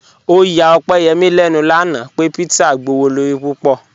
Ọ̀yà Ọ̀pẹ́yẹ́mí lẹ́nu lánà pẹ̀ pízzà gbọwọ̀lọ̀rí púpọ̀.